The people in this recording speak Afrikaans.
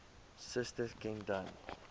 suster ken dan